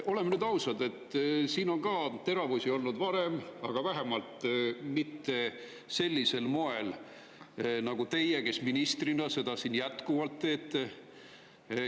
Oleme nüüd ausad, siin on teravusi öeldud varemgi, aga vähemalt mitte sellisel moel nagu teie ministrina seda siin jätkuvalt teete.